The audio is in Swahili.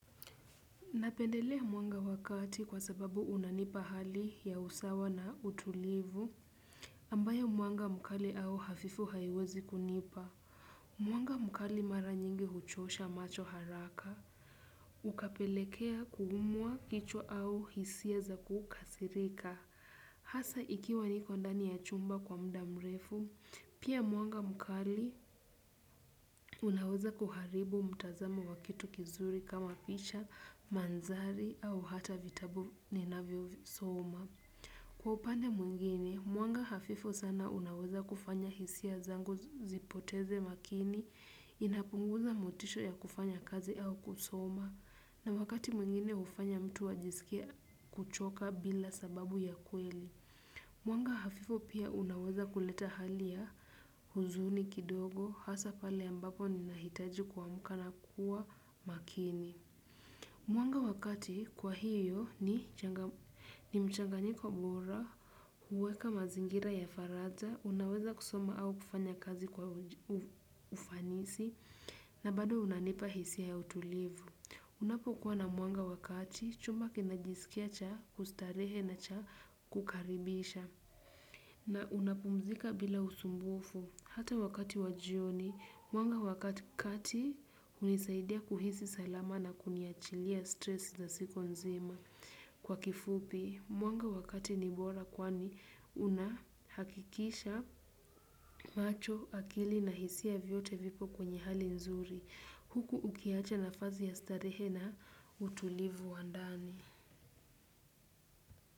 Napendelea mwanga wa kati kwa sababu unanipa hali ya usawa na utulivu, ambayo mwanga mkali au hafifu haiwezi kunipa. Mwanga mkali mara nyingi huchosha macho haraka. Ukapelekea kuumwa kichwa au hisia za kukasirika. Hasa ikiwa niko ndani ya chumba kwa muda mrefu, pia mwanga mkali unaweza kuharibu mtazamo wa kitu kizuri kama picha, mandhari, au hata vitabu ninavyosoma. Kwa upande mwingine, mwanga hafifu sana unaweza kufanya hisia zangu zipoteze makini, inapunguza motisha ya kufanya kazi au kusoma, na wakati mwingine hufanya mtu ajisikie kuchoka bila sababu ya kweli. Mwanga hafifu pia unaweza kuleta hali ya huzuni kidogo, hasa pale ambapo ninahitaji kuamuka na kuwa makini. Mwanga wa kati kwa hiyo ni mchanganyiko bora, huweka mazingira ya faraja, unaweza kusoma au kufanya kazi kwa ufanisi, na bado unanipa hisia ya utulivu. Unapokuwa na mwanga wa kati, chumba kinajisikia cha kustarehe na cha kukaribisha. Na unapumzika bila usumbufu, hata wakati wa jioni. Mwanga wa kati kati, hunisaidia kuhisi salama na kuniachilia 'stress' na siku nzima. Kwa kifupi, mwanga wa kati ni bora kwani unahakikisha macho, akili na hisia vyote vipo kwenye hali nzuri. Huku ukiacha nafasi ya starehe na utulivu wa ndani.